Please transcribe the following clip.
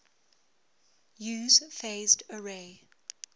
use phased array